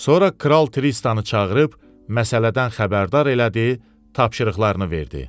Sonra Kral Tristanı çağırıb məsələdən xəbərdar elədi, tapşırıqlarını verdi.